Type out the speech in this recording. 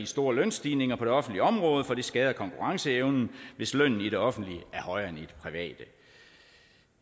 store lønstigninger på det offentlige område for det skader konkurrenceevnen hvis lønnen i det offentlige er højere